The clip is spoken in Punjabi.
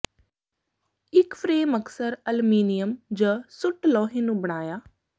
ਇੱਕ ਫਰੇਮ ਅਕਸਰ ਅਲਮੀਨੀਅਮ ਜ ਸੁੱਟ ਲੋਹੇ ਨੂੰ ਬਣਾਇਆ